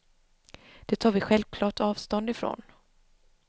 Det tar vi självklart avstånd ifrån.